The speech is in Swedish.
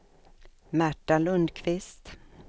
Märta Lundquist